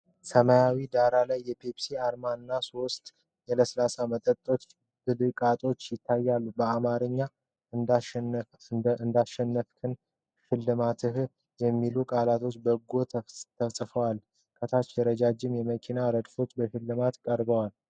ሰማያዊ ዳራ ላይ የፔፕሲ አርማ እና ሶስት የለሰለሰ መጠጥ ብልቃጦች ይታያሉ። በአማርኛ "እንዳሸነፍክና ሽልማትህ" የሚሉ ቃላት በጎን ተጽፈዋል። ከታች ረጅም የመኪናዎች ረድፍ በሽልማትነት ቀርበዋል።